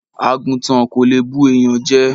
Àgùntàn kò lè bu ènìyàn jẹ.